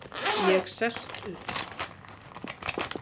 Ég sest upp.